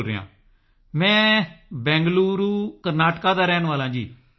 ਬੋਲ ਰਿਹਾ ਹਾਂ ਮੈਂ ਬੰਗਲੁਰੂ ਕਰਨਾਟਕਾ ਦਾ ਰਹਿਣ ਵਾਲਾ ਹਾਂ